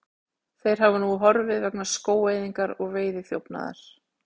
Þeir hafa nú horfið vegna skógaeyðingar og veiðiþjófnaðar.